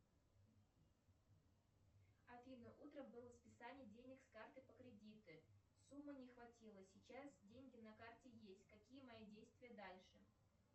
афина утром было списание денег с карты по кредиту суммы не хватило сейчас деньги на карте есть какие мои действия дальше